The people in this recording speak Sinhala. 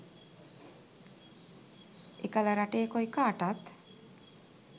එකල රටේ කොයිකාටත්